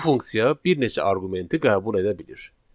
Bu funksiya bir neçə arqumenti qəbul edə bilir.